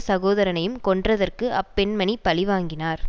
சகோதரனையும் கொன்றதற்கு அப்பெண்மணி பழிவாங்கினார்